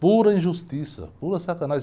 Pura injustiça, pura sacanagem.